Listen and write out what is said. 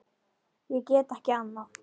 Ég get ekki annað.